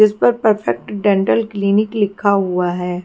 जिस पर perfect dental clinic लिखा हुआ है।